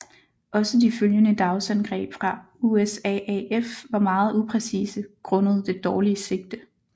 Også de følgende dagsangreb fra USAAF var meget upræcise grundet det dårlige sigte